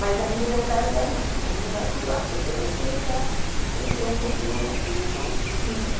Mas aí no meu caso, eh não, você não vai pular porque você já entrou um pouquinho antes, então fica.